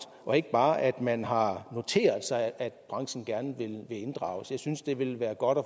og ikke bare at man har noteret sig at branchen gerne vil inddrages jeg synes det ville være godt at